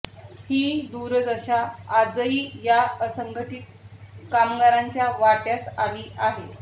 ही दुर्दशा आजही या असंघटित कामगारांच्या वाट्यास आली आहे